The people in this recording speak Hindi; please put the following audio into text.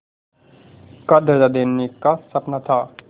का दर्ज़ा देने का सपना था